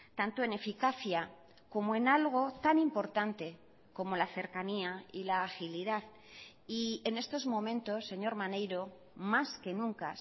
tanto en eficacia como en algo tan importante como la cercanía y la agilidad y en estos momentos señor maneiro más que nunca